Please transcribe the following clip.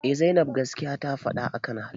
Eh zainab gaskiya ta faɗa akan halima